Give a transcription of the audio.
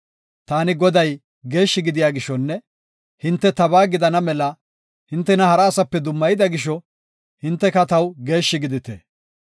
Taani Goday geeshshi gidiya gishonne hinte tabaa gidana mela hintena hara asaape dummayida gisho, hinteka taw geeshshi gidite.